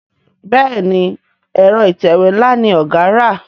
Béèni Ẹ̀rọ ìtẹ̀wé nla ní ọgá rà.